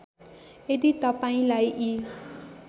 यदि तपाईँंलाई यी